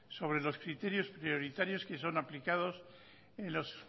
sobre los criterios prioritarios que son aplicados en los